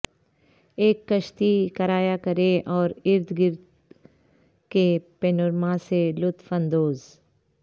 ایک کشتی کرایہ کریں اور ارد گرد کے پینورما سے لطف اندوز